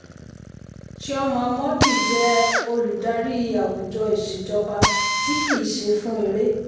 chioma mordi jẹ́ olùdarí àwùjọ ìṣèjọba tí kì í ṣe fún èrè.